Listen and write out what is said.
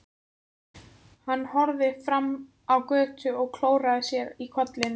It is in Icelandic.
Hann horfði fram á götuna og klóraði sér í kollinum.